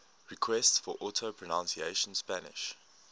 requests for audio pronunciation spanish